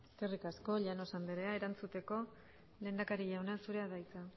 eskerrik asko llanos anderea erantzuteko lehendakari jauna zurea da hitza